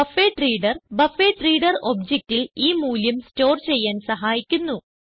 buffered reader buffered reader objectൽ ഈ മൂല്യം സ്റ്റോർ ചെയ്യാൻ സഹായിക്കുന്നു